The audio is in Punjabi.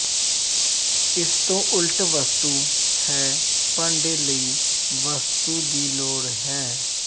ਇਸ ਤੋਂ ਉਲਟ ਵਸਤੂ ਹੈ ਭਾਂਡੇ ਲਈ ਵਸਤੂ ਦੀ ਲੋੜ ਹੈ